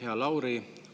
Hea Lauri!